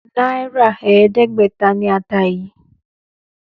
Náírà ẹ̀ẹ́dẹ́gbẹ̀ta ni ata yìí.